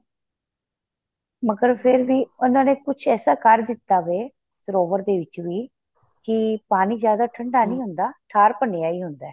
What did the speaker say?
ਮਗਰ ਵੀ ਉਹਨਾ ਨੇ ਕੁੱਛ ਐਸਾ ਕਰ ਦਿੱਤਾ ਵੇ ਸਰੋਵਰ ਦੇ ਵਿੱਚ ਵੀ ਕਿ ਪਾਣੀ ਜਿਆਦਾ ਠੰਡਾ ਨਹੀਂ ਹੁੰਦਾ ਠਾਰ ਭੰਨਿਆ ਹੀ ਹੁੰਦਾ